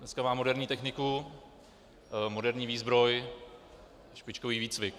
Dneska má moderní techniku, moderní výzbroj, špičkový výcvik.